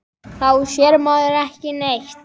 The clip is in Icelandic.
Þá sér maður ekki neitt.